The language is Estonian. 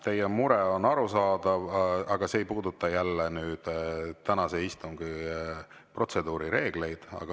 Teie mure on arusaadav, aga see jälle ei puuduta tänase istungi protseduurireegleid.